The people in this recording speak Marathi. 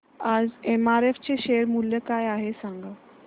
आज एमआरएफ चे शेअर मूल्य काय आहे सांगा